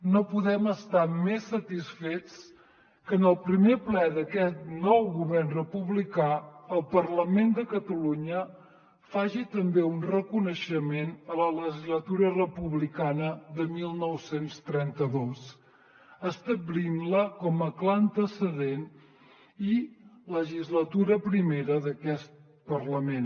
no podem estar més satisfets que en el primer ple d’aquest nou govern republicà el parlament de catalunya faci també un reconeixement a la legislatura republicana de dinou trenta dos establint la com a clar antecedent i legislatura primera d’aquest parlament